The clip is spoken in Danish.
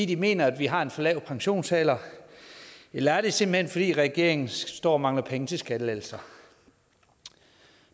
de mener at vi har en for lav pensionsalder eller er det simpelt hen fordi regeringen står og mangler penge til skattelettelser